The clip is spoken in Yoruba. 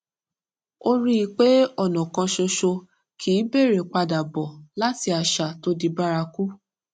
ó rí i pé ònà kan ṣoṣo kì í bẹrẹ padà bó láti àṣà tó di bárakú